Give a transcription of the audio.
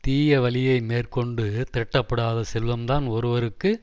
தீய வழியை மேற்கொண்டு திரட்டப்படாத செல்வம்தான் ஒருவருக்கு